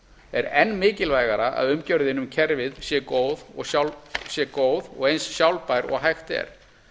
er enn mikilvægara að umgjörðin um kerfið sé góð og eins sjálfbær og hægt er